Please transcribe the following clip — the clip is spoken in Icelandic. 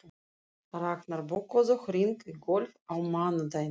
Raknar, bókaðu hring í golf á mánudaginn.